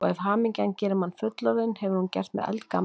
Og ef hamingjan gerir mann fullorðinn, hefur hún gert mig eldgamlan.